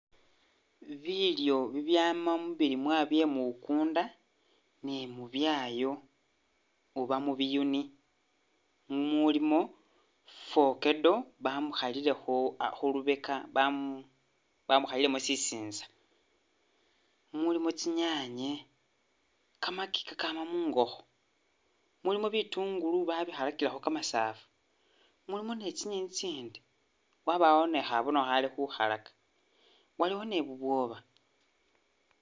Bilyo bibyama mubilimwa byemukunda ni'mubyayo oba mubiyuni mumulimo fokeddo bamukhalilekho khulubeka bamu bamukhalilemo sisintsa mumulimo tsinyanye kamaki kakama mungokho mulimo bitungulu babikhalakilekho kamasafu mulimo ni'tsinyenyi tsiitsindi wabawo ni'khabono Khali khukhalaka, waliwo ni'bubwoba